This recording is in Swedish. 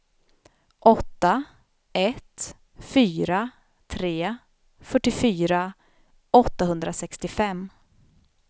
åtta ett fyra tre fyrtiofyra åttahundrasextiofem